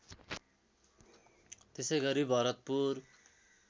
त्यसै गरी भरतपुर